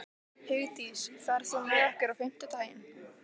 Hugdís, ferð þú með okkur á fimmtudaginn?